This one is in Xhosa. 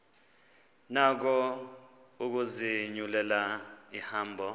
nako ukuzinyulela ihambo